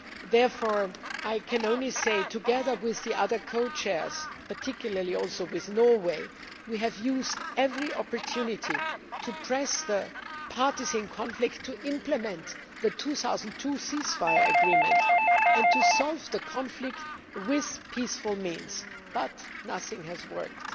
Therefore, I can only say together with the other Co Chairs and also particularly with Norway that we have used every opportunity to press the parties in conflict to implement the 2002 ceasefire agreement and to solve the conflict using peaceful means, but nothing has worked.